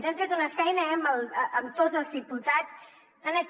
hem fet una feina eh amb tots els diputats en aquest